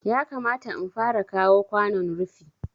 Yakamata in fara kawo kwanon rufi